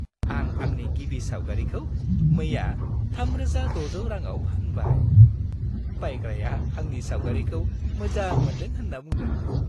आं आंनि गिबि सावगारिखौ मैया 3600 रांआव फानबाय। बायग्राया आंनि सावगारिखौ मोजां मोन्दों होन्ना बुंदोंमोन।